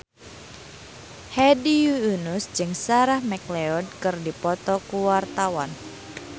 Hedi Yunus jeung Sarah McLeod keur dipoto ku wartawan